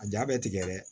A ja bɛ tigɛ dɛ